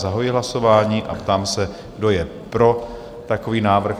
Zahajuji hlasování a ptám se, kdo je pro takový návrh?